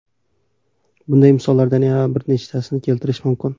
Bunday misollardan yana bir nechasini keltirish mumkin.